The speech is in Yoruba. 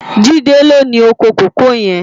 Jide ló ni ókó kókòó yèn